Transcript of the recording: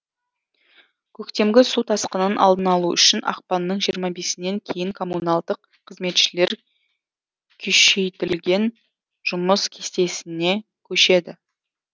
көктемгі су тасқынын алдын алу үшін ақпанның жиырма бесінен кейін коммуналдық қызметшілер күшейтілген жұмыс кестесіне көшеді